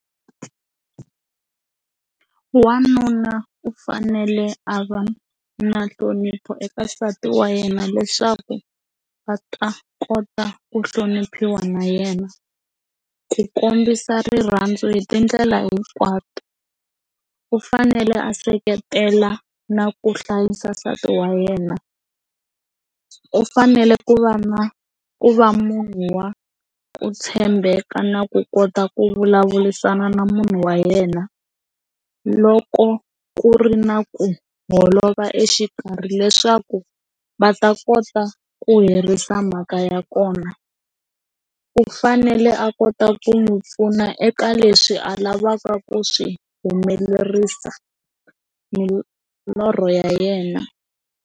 Wanuna u fanele a va na nhlonipho eka nsati wa yena leswaku va ta kota ku hloniphiwa na yena ku kombisa rirhandzu hi tindlela hinkwato u fanele a seketela na ku hlayisa nsati wa yena, u fanele ku va na ku va munhu wa ku tshembeka na ku kota ku vulavurisana na munhu wa yena loko ku ri na ku holova exikarhi leswaku va ta kota ku herisa mhaka ya kona. U fanele a kota ku n'wi pfuna eka leswi a lavaka ku swi humelerisa milorho ya yena.